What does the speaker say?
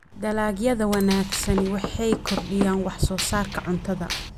Dalagyada wanaagsani waxay kordhiyaan wax soo saarka cuntada.